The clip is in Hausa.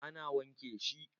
A na wanke shi